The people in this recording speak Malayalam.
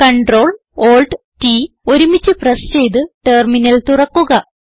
Ctrl Alt T ഒരുമിച്ച് പ്രസ് ചെയ്ത് ടെർമിനൽ തുറക്കുക